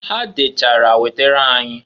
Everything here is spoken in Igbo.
Ha dechara wetara anyị.